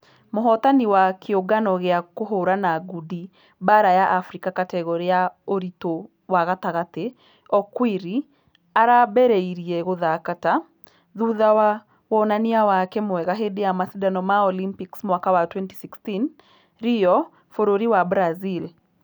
Mũhotani wa kĩũngano gĩa kũhũrana ngundi baara ya africa kategore ya ũritũwa gatagatĩ okwiri arambereirie gũthaka ta ......thutha wa wũnanĩa wake mwega hĩndĩ ya mashidano ma olympics mwaka wa 2016 rio bũrũri wa brazil.